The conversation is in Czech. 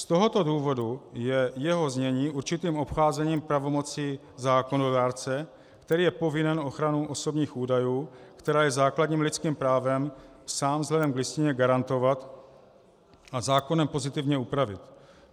Z tohoto důvodu je jeho znění určitým obcházením pravomocí zákonodárce, který je povinen ochranu osobních údajů, která je základním lidským právem, sám vzhledem k Listině garantovat a zákonem pozitivně upravit.